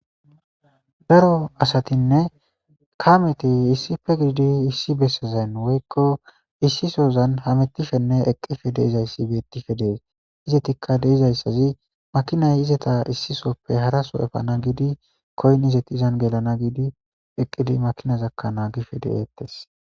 Daro asatinne kameti issife giidi issi bessezayn woykko issisozan hamettifenne eqqife deizayssi beettife dees izetikka deizayssazi makinay izeta issisoppe haraso efana giidi koynnizeti izan gelana giidi eqqidi makina zakkanaa gife de'eettes.